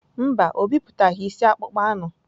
Mba, o bipụtaghị isi akpụkpọ anụ.